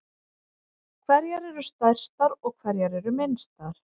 Hverjar eru stærstar og hverjar eru minnstar?